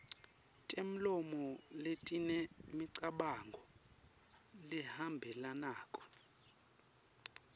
temlomo letinemicabango lehambelanako